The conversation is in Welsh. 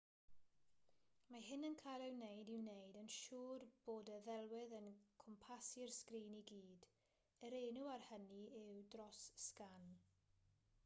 mae hyn yn cael ei wneud i wneud yn siwr bod y ddelwedd yn cwmpasu'r sgrin i gyd yr enw ar hynny yw dros-sgan